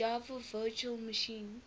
java virtual machine